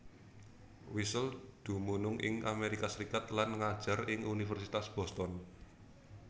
Wiesel dumunung ing Amerika Serikat lan ngajar ing Universitas Boston